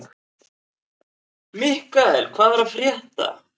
Mikkael, hvað er að frétta?